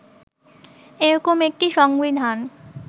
এরকম একটি সংবিধান